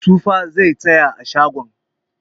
Tuffa zai saya a shagon.